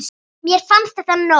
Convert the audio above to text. Mér fannst þetta nóg.